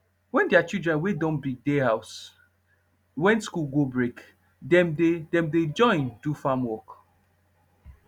wen deir children wey don big dey house wen school go break dem dey dem dey join do farm work